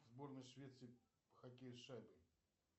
сборная швеции по хоккею с шайбой